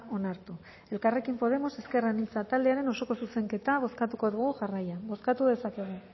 onartu elkarrekin podemos ezker anitza taldearen osoko zuzenketa bozkatuko dugu jarraian bozkatu dezakegu